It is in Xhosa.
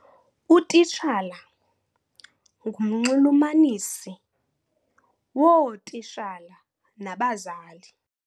Utitshala ngumnxulumanisi wootitshala nabazali.